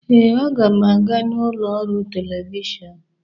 Ee, m ga-aga n'ụlọ ọrụ telivishọn.